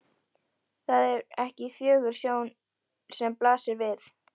Það er ekki fögur sjón sem blasir við.